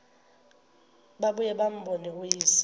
babuye bambone uyise